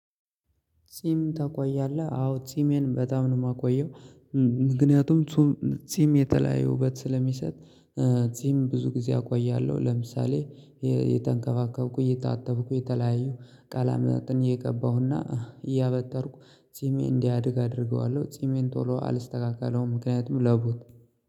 ጺም ታቆያለህ? አዎ ጺሜን በጣም ነው የማቆየው። ምክንያቱም ጺም የተለያየ ውበት ስለሚሰጥ። ይህም ብዙ ጊዜ አቆያለሁ። ለምሳሌ የተንከባከብኩ የታተጠብኩ የተለያየው ቃላማትን እየቀባሁ እና እያበጠርኩ ጺሜ እንዲያድግ አደርገዋለሁ። ጺሜን ቶሎ አልስተካከለውም ምክንያቱም ለቡት